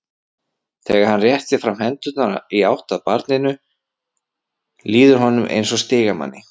Þegar hann réttir fram hendurnar í átt að barninu líður honum eins og stigamanni.